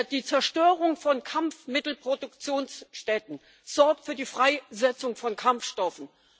Die Zerstörung von Kampfmittelproduktionsstätten sorgt für die Freisetzung von Kampfstoffen.